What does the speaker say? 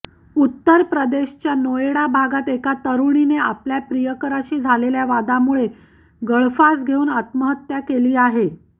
उत्तर प्रदेशच्या नोएडा भागात एका तरुणीने आपल्या प्रियकराशी झालेल्या वादामुळे गळफास घेऊन आत्महत्या केली आहे